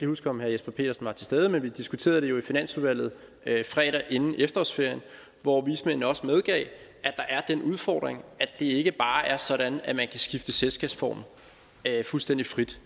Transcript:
huske om herre jesper petersen var til stede men vi diskuterede det jo i finansudvalget fredag inden efterårsferien hvor vismændene også medgav at der er den udfordring at det ikke bare er sådan at man kan skifte selskabsform fuldstændig frit